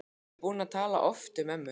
Ég er búin að tala oft um ömmu.